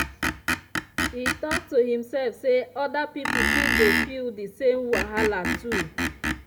e talk to himself say other people fit dey feel the same wahala too.